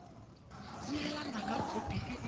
neelana ka khopi e e